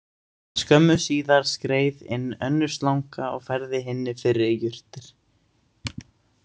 Skömmu síðar skreið inn önnur slanga og færði hinni fyrri jurtir.